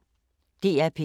DR P1